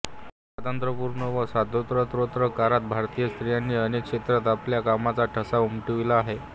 स्वातंत्र्यपूर्व व स्वातंत्रोत्तर काळात भारतीय स्त्रियांनी अनेक क्षेत्रांत आपल्या कामाचा ठसा उमटविला आहे